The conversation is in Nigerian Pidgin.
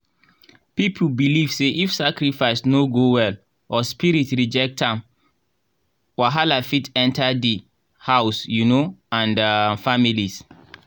people believe say if sacrifice no go well or spirit reject am wahala fit enter the house um and um families